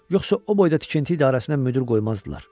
Yoxsa o boyda tikinti idarəsinə müdir qoymazdılar.